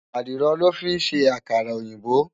Àdìrò lò fin sé àkárà-óyinbó